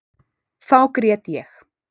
Þá grét ég.